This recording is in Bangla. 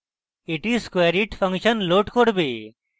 এটি squareit ফাংশন load করবে